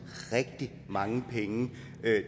rigtig mange penge